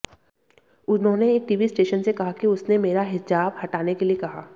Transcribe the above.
उन्होंने एक TV station से कहा कि उसने मेरा हिजाब हटाने के लिए कहा